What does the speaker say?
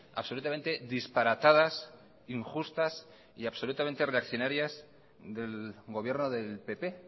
absolutamente disparatadas injustas y absolutamente reaccionarias del gobierno del pp